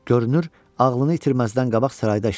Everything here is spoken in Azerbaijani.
Görünür, ağlını itirməzdən qabaq sarayda işləmişdi.